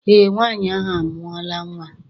Eé, nwaanyị ahụ amụọla nnwa.